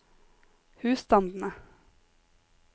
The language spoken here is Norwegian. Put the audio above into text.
husstandene